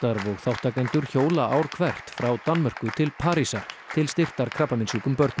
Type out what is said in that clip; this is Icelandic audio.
og þátttakendur hjóla ár hvert frá Danmörku til Parísar til styrktar krabbameinssjúkum börnum